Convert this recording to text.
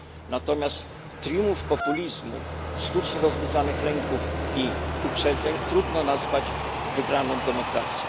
Natomiast triumf populizmu, sztucznie rozbudzonych lęków i uprzedzeń, trudno nazwać wygraną demokracji.